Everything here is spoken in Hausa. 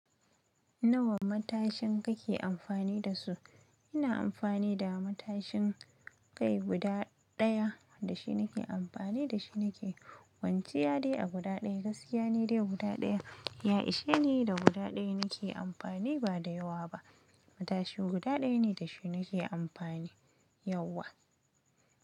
Nawa matashin kake amfani da su? Ina amfani da matashin kai guda ɗaya. Da shi nake amfani, da shi nake kwanciya dai a guda ɗaya. Gaskiya ne dai guda ɗaya. Ya ishe ni da guda ɗaya nake amfani ba da yawa ba. Matashi guda ɗaya ne da shi nake amfani yauwa.